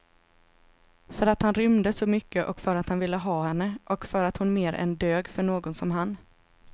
För att han rymde så mycket och för att han ville ha henne och för att hon mer än dög för någon som han.